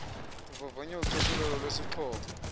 avavanye ucoselelo lwesixhobo